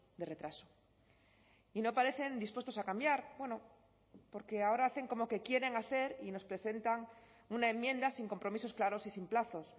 de retraso y no parecen dispuestos a cambiar bueno porque ahora hacen como que quieren hacer y nos presentan una enmienda sin compromisos claros y sin plazos